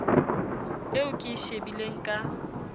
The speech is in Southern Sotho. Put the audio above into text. eo ke e shebileng ka